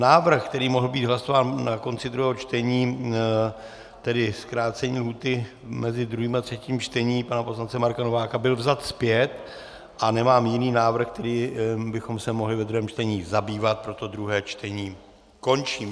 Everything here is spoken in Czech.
Návrh, který mohl být hlasován na konci druhého čtení, tedy zkrácení lhůty mezi druhým a třetím čtením, pana poslance Marka Nováka byl vzat zpět a nemám jiný návrh, kterým bychom se mohli ve druhém čtení zabývat, proto druhé čtení končím.